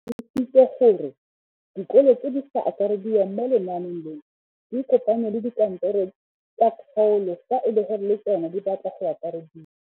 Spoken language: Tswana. O tlhalositse gore dikolo tse di sa akarediwang mo lenaaneng leno di ikopanye le dikantoro tsa kgaolo fa e le gore le tsona di batla go akarediwa.